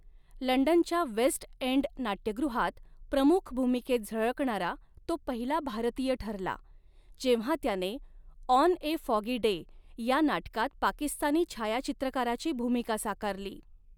लंडनच्या West End नाट्यगृहात प्रमुख भूमिकेत झळकणारा तो पहिला भारतीय ठरला, जेव्हा त्याने 'ऑन ए फॉगी डे' या नाटकात पाकिस्तानी छायाचित्रकाराची भूमिका साकारली.